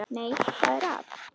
Nei, hvað er að?